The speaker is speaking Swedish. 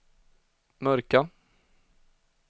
mörka